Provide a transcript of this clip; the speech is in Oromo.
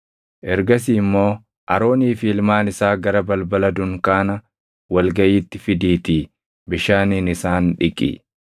Ergasii immoo Aroonii fi ilmaan isaa gara balbala dunkaana wal gaʼiitti fidiitii bishaaniin isaan dhiqi.